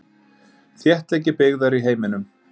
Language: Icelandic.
Þéttleiki byggðar í heiminum.